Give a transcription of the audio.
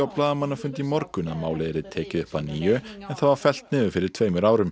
blaðamannafundi í morgun að málið yrði tekið upp að nýju en það var fellt niður fyrir tveimur árum